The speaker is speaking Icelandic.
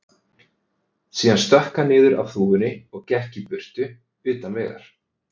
Síðan stökk hann niður af þúfunni og gekk í burtu, utan vegar.